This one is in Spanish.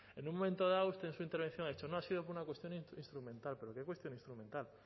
en un momento dado usted en su intervención ha dicho no ha sido por una cuestión instrumental pero qué cuestión instrumental